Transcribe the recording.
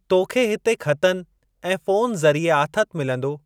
तोखे हिते ख़तनि ऐं फ़ोन ज़रीए आथतु मिलंदो।